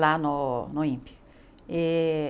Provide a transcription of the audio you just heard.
lá no no INPE e.